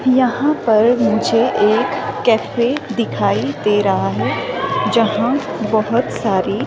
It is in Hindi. यहां पर मुझे एक कैफे दिखाई दे रहा है जहां बहोत सारी--